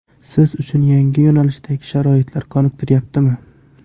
Siz uchun yangi yo‘nalishdagi sharoitlar qoniqtiryaptimi?